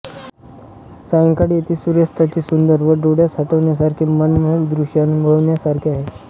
सायंकाळी येथे सूर्यास्ताचे सुंदर व डोळ्यात साठवण्यासारखे मनमोहक दृश्य अनुभवण्यासारखे आहे